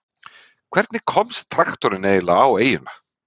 Hvernig komst traktorinn eiginlega á eyjuna?